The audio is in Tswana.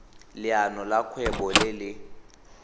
leano la kgwebo le le